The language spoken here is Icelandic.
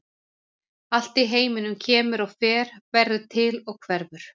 Allt í heiminum kemur og fer, verður til og hverfur.